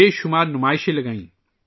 کئی نمائشوں کا اہتمام کیا